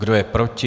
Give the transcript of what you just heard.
Kdo je proti?